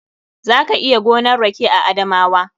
Za ka iya gonan rake a Adamawa.